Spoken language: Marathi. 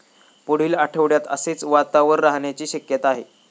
पुढील आठवड्यात असेच वातावर राहण्याची शक्यता आहे.